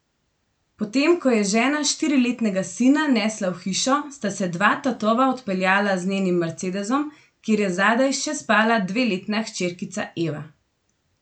Potem ko je žena štiriletnega sina nesla v hišo, sta se dva tatova odpeljala z njenim mercedesom, kjer je zadaj še spala dveletna hčerkica Eva.